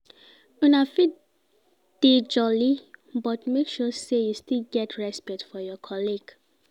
Una fit dey jolly, but make sure sey you still get respect for your colleagues